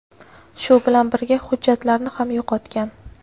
Shu bilan birga hujjatlarini ham yo‘qotgan.